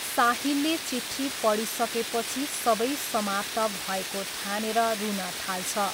साहिलले चिठी पढिसकेपछि सबै समाप्त भएको ठानेर रुन थाल्छ।